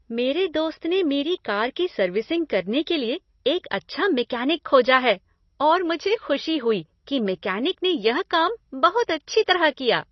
मेरे दोस्त ने मेरी कार की सर्विसिंग करने के लिए एक अच्छा मैकेनिक खोजा है और मुझे खुशी हुई कि मेकैनिक ने यह काम बहुत अच्छी तरह किया।